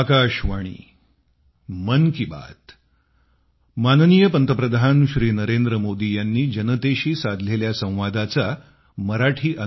Navi Delhi 27 September 2020